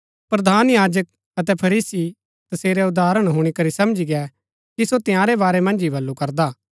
प्रधान याजक अतै फरीसी तसेरै उदाहरण हुणी करी समझी गै कि सो तंयारै बारै मन्ज ही बल्लू करदा हा